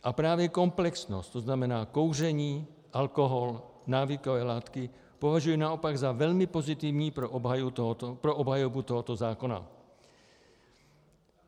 A právě komplexnost, to znamená kouření, alkohol, návykové látky, považuji naopak za velmi pozitivní pro obhajobu tohoto zákona.